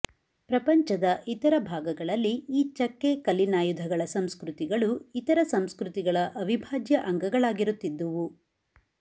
ಪ್ರಪಂಚದ ಇತರ ಭಾಗಗಳಲ್ಲಿ ಈ ಚಕ್ಕೆ ಕಲ್ಲಿನಾಯುಧಗಳ ಸಂಸ್ಕೃತಿಗಳು ಇತರ ಸಂಸ್ಕೃತಿಗಳ ಅವಿಭಾಜ್ಯ ಅಂಗಗಳಾಗಿರುತ್ತಿದ್ದುವು